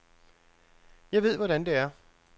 Jeg ved, hvordan det er.